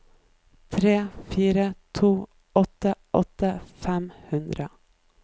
tre fire to åtte åtti fem hundre